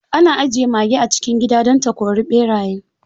Ana ajiye mage a cikin gida don ta kori ɓeraye.